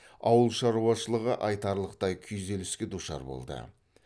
ауыл шаруашылығы айтарлықтай күйзеліске душар болды